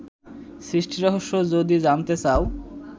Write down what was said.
সৃষ্টিরহস্য যদি জানতে চাও